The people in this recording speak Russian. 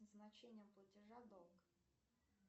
назначение платежа долг